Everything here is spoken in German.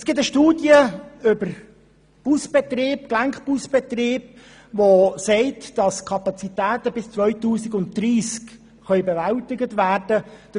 Es gibt eine Studie über den Busgelenkbetrieb, welche besagt, dass die Kapazitäten bis 2030 bewältigt werden können.